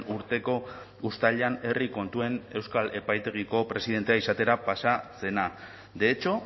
urteko uztailean herri kontuen euskal epaitegiko presidentea izatera pasa zena de hecho